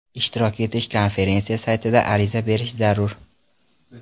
Ishtirok etish uchun konferensiya saytida ariza berish zarur.